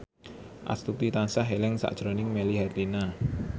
Astuti tansah eling sakjroning Melly Herlina